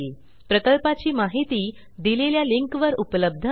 प्रकल्पाची माहिती दिलेल्या लिंकवर उपलब्ध आहे